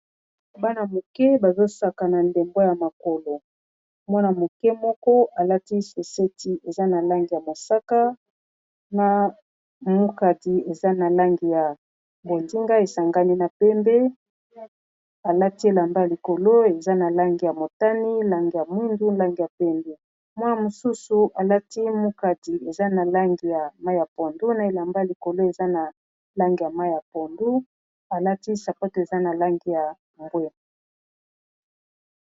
Bana-moke bazosaka ndembo ya makolo mwana-moke moko alati soseti eza na langi ya mosaka na mukadi eza na langi ya bonzinga esangani na pembe alati elamba likolo eza na langi ya motani langi ya mwindu langi ya pondu mwa mosusu alati mukadi eza na langi ya mayi ya pondu na elamba likolo eza na langi ya mayi ya pondu alati sapato eza na langi ya mbwe.